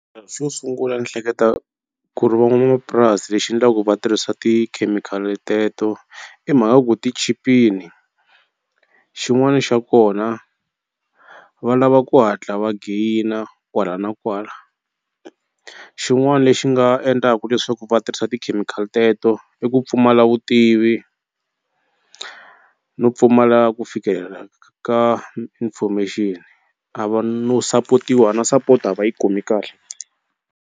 Xo sungula ni hleketa ku ri van'wanamapurasi lexi endlaku va tirhisa tikhemikhali teto i mhaka ku ti chipini xin'wani xa kona va lava ku hatla va gain-a kwala na kwala xin'wana lexi nga endlaku leswaku va tirhisa tikhemikhali teto i ku pfumala vutivi no pfumala ku fikelela ka information a va no support-iwa na support a va yi kumi kahle.